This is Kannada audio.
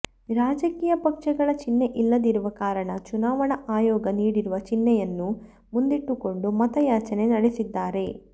ರಾಜಕೀಯ ಪಕ್ಷಗಳ ಚಿಹ್ನೆ ಇಲ್ಲದಿರುವ ಕಾರಣ ಚುನಾವಣಾ ಆಯೋಗ ನೀಡಿರುವ ಚಿನ್ಹೆಯನ್ನು ಮುಂದಿಟ್ಟುಕೊಂಡು ಮತ ಯಾಚನೆ ನಡೆಸಿದ್ದಾರೆ